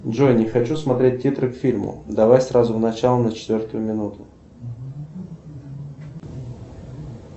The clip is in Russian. джой не хочу смотреть титры к фильму давай сразу в начало на четвертую минуту